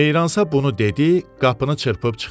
Meyransa bunu dedi, qapını çırpıb çıxdı.